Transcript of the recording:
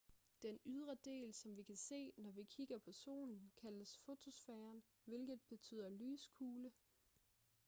den ydre del som vi kan se når vi kigger på solen kaldes fotosfæren hvilket betyder lyskugle